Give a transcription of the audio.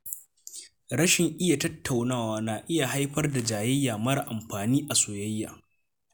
Rashin iya tattaunawa na haifar da jayayya mara amfani a soyayya.